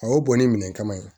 A y'o bɔ ni minɛn kama ye